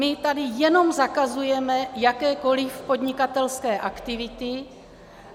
My tady jenom zakazujeme jakékoli podnikatelské aktivity.